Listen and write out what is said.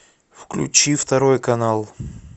включи второй канал